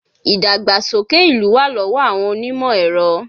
Ìdàgbàsókè ìlú wà lọ́wọ́ àwọn onímọ̀ ẹ̀rọ